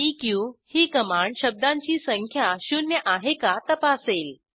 इक ही कमांड शब्दांची संख्या शून्य आहे का तपासेल